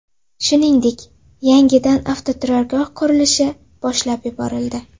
Shuningdek, yangidan avtoturargoh qurilishi boshlab yuborildi.